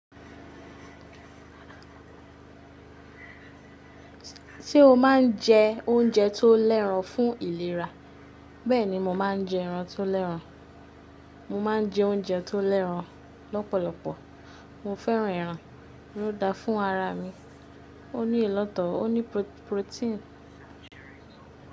Ṣé o máa ń jẹ oúnjẹ tó lẹ́ran fún ìlera? Bẹ́ẹ̀ni mo máa ń jẹ ẹran tó lẹ́ran. Mo máa ń jẹ óúnjẹ tó lẹ́ran lọ́pọ̀lọpọ̀. Mo fẹ́ran ẹran, ó dáa fún ara mi, ó ní ìlọ̀tọ̀, ó ní protein.